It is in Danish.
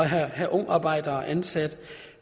have ungarbejdere ansat